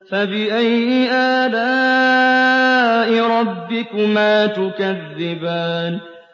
فَبِأَيِّ آلَاءِ رَبِّكُمَا تُكَذِّبَانِ